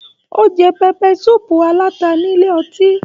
O jẹ pẹpẹ sùúpù alata nílé ọtí.